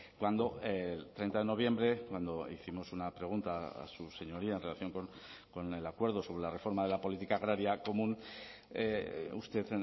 cuando el treinta de noviembre cuando hicimos una pregunta a su señoría en relación con el acuerdo sobre la reforma de la política agraria común usted